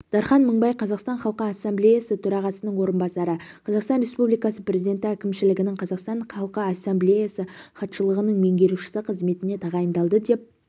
дархан мыңбай қазақстан халқы ассамблеясы төрағасының орынбасары қазақстан республикасы президенті әкімшілігінің қазақстан халқы ассамблеясы хатшылығының меңгерушісі қызметіне тағайындалды деп